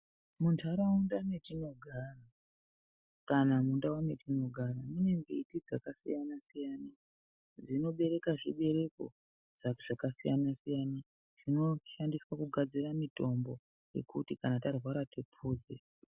Muntaraunda metinogara kana mundau metinogara mune mbiti dzakasiyana-siyana dzinobereka zvibereko zvakasiyana-siyana zvinoshandiswa kugadzira mitombo yekuti kana tarwara tiphuze.